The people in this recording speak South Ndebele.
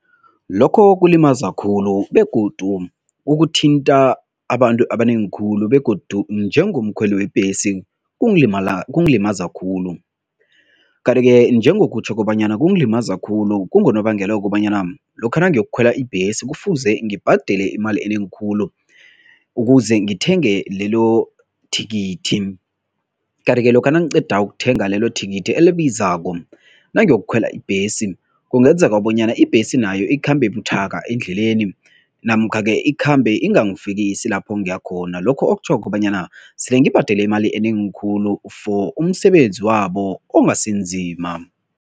Lokho kulimaza khulu begodu ukuthinta abantu abanengi khulu begodu njengomkhweli webhesi, kungalimala kungalimaza khulu. Kanti-ke njengokutjho kobanyana kungalimaza khulu, kungonobangela wokobanyana lokha nangiyokukhwela ibhesi kufuze ngibhadele imali enengi khulu ukuze ngithenge lelo thikithi. Kanti-ke lokha nangiqeda ukuthenga lelo thikithi elibizako, nangiyokukhwela ibhesi kungenzeka bonyana ibhesi nayo ikhambe buthaka endleleni namkha-ke ikhambe ingangifikisi lapho ngiyakhona, lokho okutjho kobanyana sele ngibhadela imali enengi khulu for umsebenzi wabo ongasinzima.